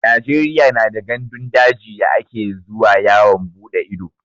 Najeriya na da gandun daji da ake zuwa yawon bude ido